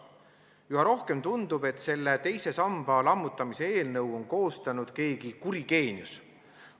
Üha rohkem tundub, et selle teise samba lammutamise eelnõu on koostanud keegi kuri geenius.